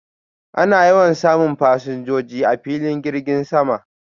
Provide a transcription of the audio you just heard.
Ana yawan samun fasinjoji a filin girgin sama